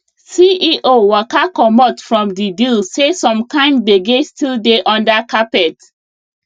ceo waka comot from the deal say some kind gbege still dey under carpet